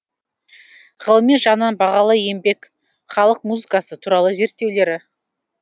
ғылыми жағынан бағалы еңбек халық музыкасы туралы зерттеулері